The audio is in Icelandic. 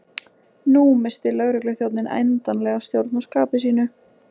Nú missti lögregluþjónninn endanlega stjórn á skapi sínu.